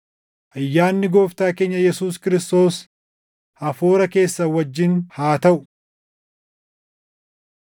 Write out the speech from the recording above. Ayyaanni Gooftaa keenya Yesuus Kiristoos hafuura keessan wajjin haa taʼu.